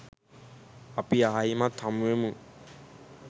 අපි ආයිමත් හමුවෙමු